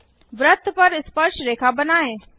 वृत्त पर स्पर्शरेखा बनाएँ